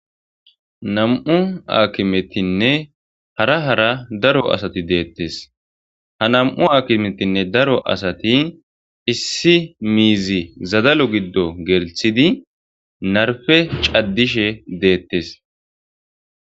Nammu' hakimethinne hara hara daro assathi dethees. Ha nammu' hakimethinne daro assathi issi mizzi zadalo gido gelssid narpe caadishshe dethees.